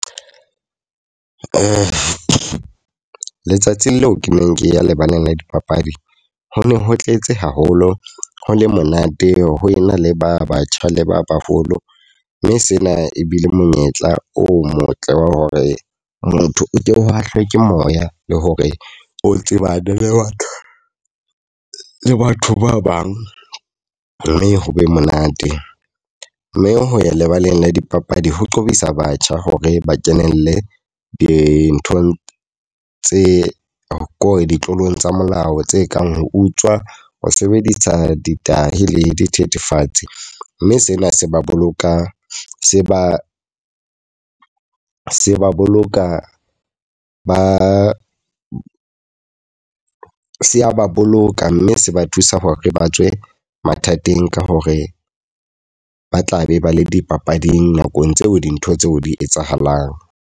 Le letsatsi leo ke neng ke ya lebaleng la dipapadi. Ho ne ho tletse haholo, ho le monate ho ena le ba batjha le ba baholo. Mme sena ebile monyetla o motle wa hore motho o ko o hahlwe ke moya le hore o tseba le ba le batho ba bang mme ho be monate. Mme ho ya lebaleng la dipapadi ho qobisa batjha hore ba kenelle dinthong tse ko re ditlolo tsa molao tse kang ho utswa, ho sebedisa di tahi le dithethefatsi. Mme sena se ba bolokang se ba se ba boloka, ba se ba boloka mme se ba thusa hore ba tswe mathateng ka hore ba tla be ba le dipapading nakong tseo dintho tseo di etsahalang.